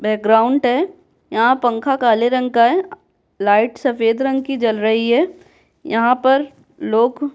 background है यहाँ पंखा काले रंग का लाइट सफेद रंग की जल रही है यहाँ पर लोग --